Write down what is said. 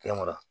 Fɛn wɛrɛ